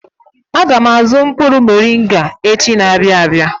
Aga m azụ mkpụrụ moringa echi na-abịa abịa.